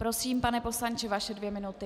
Prosím, pane poslanče, vaše dvě minuty.